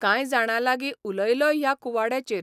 कांय जाणां लागीं उलोयलॉय ह्या कुवाड्याचेर.